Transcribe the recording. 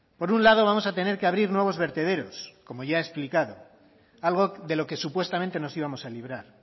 por un lado vamos a tener que abrir nuevos vertederos como ya he explicado algo de lo que supuestamente nos íbamos a librar